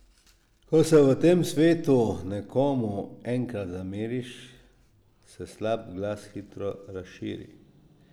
Ko se v tem svetu nekomu enkrat zameriš, se slab glas hitro razširi.